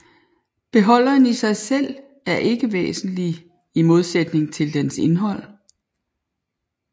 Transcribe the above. Beholderen i sig selv er ikke væsentlig i modsætning til dens indhold